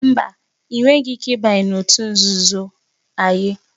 Mba, ị nweghị ike ịbanye n'otu òtù nzuzo Aye